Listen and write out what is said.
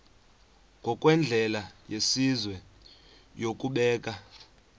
ngokwendlela yesizwe yokubeka